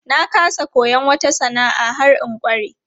Na ƙasa koyon wata sana'a har in ƙware.